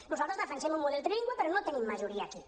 nosaltres defensem un model trilingüe però no tenim majoria aquí